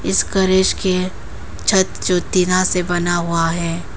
इस गैरेज के छत जो टीना से बना हुआ है।